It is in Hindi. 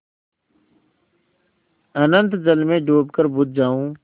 अनंत जल में डूबकर बुझ जाऊँ